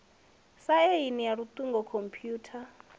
sa aini ya iuingo khomphutha